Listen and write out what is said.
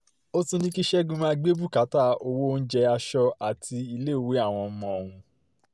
ó tún ní kí ṣẹ́gun máa gbé bùkátà owó oúnjẹ aṣọ àti iléèwé àwọn ọmọ ọ̀hún